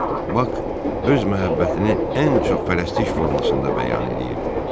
Bak öz məhəbbətini ən çox fərəstlik formasında bəyan eləyirdi.